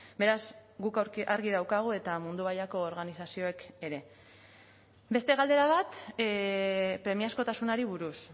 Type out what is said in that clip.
beraz guk argi daukagu eta mundu mailako organizazioek ere beste galdera bat premiazkotasunari buruz